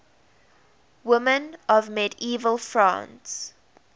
women of medieval france